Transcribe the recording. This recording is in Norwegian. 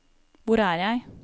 hvor er jeg